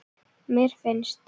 mér finnst